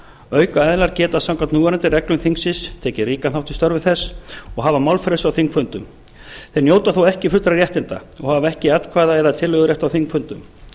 aukaaðilar geta samkvæmt núverandi reglum þingsins tekið ríkan þátt í störfum þess og hafa málfrelsi á þingfundum þeir njóta þó ekki fullra réttinda og hafa ekki atkvæða eða tillögurétt á þingfundum